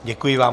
Děkuji vám.